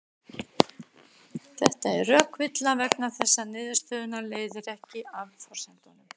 Þetta er rökvilla vegna þess að niðurstöðuna leiðir ekki af forsendunum.